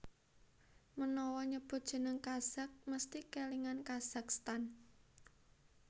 Menawa nyebut jeneng Kazakh mesthi kèlingan Kazakhstan